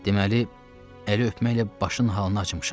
Deməli, əli öpməklə başın halını açmışam.